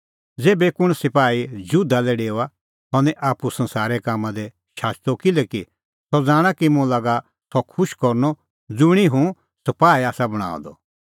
ज़ेभै कुंण सपाही जुधा लै डेओआ सह निं आप्पू संसारे कामां दी शाचदअ किल्हैकि सह ज़ाणा कि मुंह लागा सह खुश करनअ ज़ुंणी हुंह सपाही आसा बणांअ द